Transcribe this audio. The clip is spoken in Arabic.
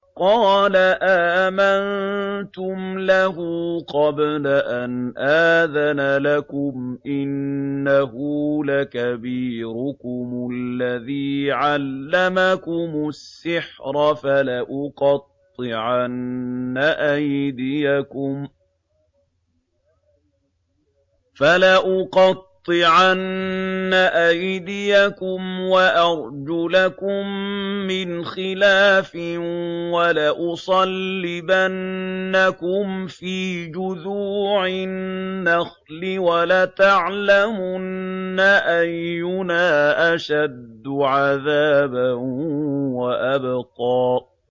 قَالَ آمَنتُمْ لَهُ قَبْلَ أَنْ آذَنَ لَكُمْ ۖ إِنَّهُ لَكَبِيرُكُمُ الَّذِي عَلَّمَكُمُ السِّحْرَ ۖ فَلَأُقَطِّعَنَّ أَيْدِيَكُمْ وَأَرْجُلَكُم مِّنْ خِلَافٍ وَلَأُصَلِّبَنَّكُمْ فِي جُذُوعِ النَّخْلِ وَلَتَعْلَمُنَّ أَيُّنَا أَشَدُّ عَذَابًا وَأَبْقَىٰ